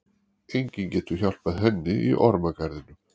Enginn getur hjálpað henni í ormagarðinum.